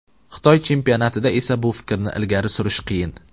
Xitoy chempionatida esa bu fikrni ilgari surish qiyin.